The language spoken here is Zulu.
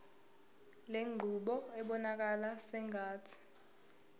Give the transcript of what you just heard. lenqubo ibonakala sengathi